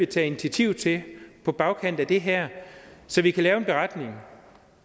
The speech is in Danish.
tage initiativ til på bagkant af det her så vi kan lave en beretning